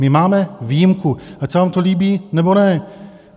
My máme výjimku, ať se vám to líbí, nebo ne.